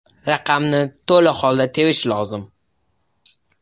Raqamni to‘la holda terish lozim.